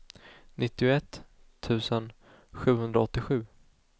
nittioett tusen sjuhundraåttiosju